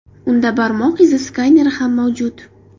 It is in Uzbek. Unda barmoq izi skaneri ham mavjud.